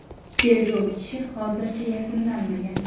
Tergov ishi hozircha yakunlanmagan.